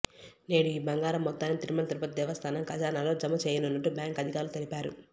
నేడు ఈ బంగారం మొత్తాన్ని తిరుమల తిరుపతి దేవస్థానం ఖజానాలో జమ చేయనున్నట్టు బ్యాంకు అధికారులు తెలిపారు